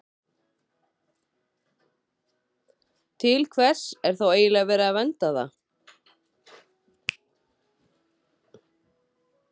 Til hvers er þá eiginlega verið að vernda það?